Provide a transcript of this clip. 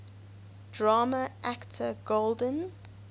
drama actor golden